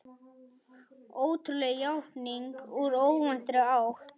Ótrúleg játning úr óvæntri átt